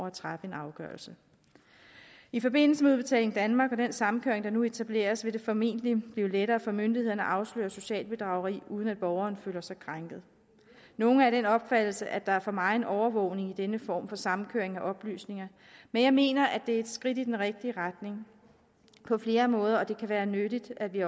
at træffe en afgørelse i forbindelse med udbetaling danmark og den samkøring der nu etableres vil det formentlig blive lettere for myndighederne at afsløre socialt bedrageri uden at borgeren føler sig krænket nogle er af den opfattelse at der er for megen overvågning i denne form for samkøring af oplysninger men jeg mener at det er et skridt i den rigtige retning på flere måder og at det også kan være nyttigt at vi